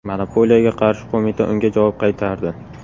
Monopoliyaga qarshi qo‘mita unga javob qaytardi.